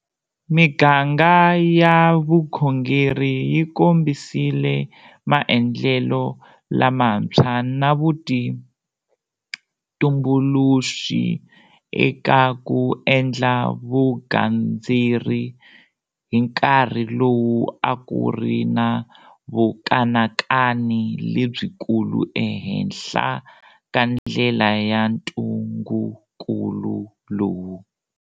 Miganga ya vukhongeri yi kombisile maendlelo lamantshwa na vutumbuluxi eka ku endla vugandzeri hi nkarhi lowu a ku ri na vukanakani lebyikulu ehenhla ka ndlela ya ntungukulu lowu.